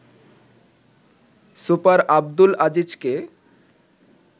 super Abdul আজিজকে